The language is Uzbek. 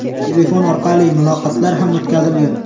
Telefon orqali muloqotlar ham o‘tkazilgan.